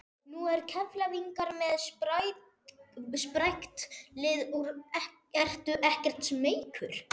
Nú eru Keflvíkingar með sprækt lið ertu ekkert smeykur?